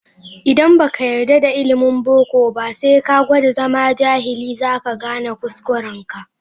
Idan ba ka yarda da ilimin boko ba, sai ka gwada zama jahili, za ka gane kuskurenka.